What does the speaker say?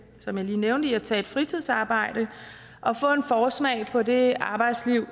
som jeg lige nævnte i at tage et fritidsarbejde og få en forsmag på det arbejdsliv